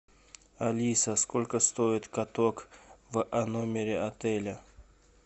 алиса сколько стоит каток в номере отеля